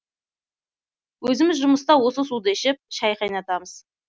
өзіміз жұмыста осы суды ішіп шай қайнатамыз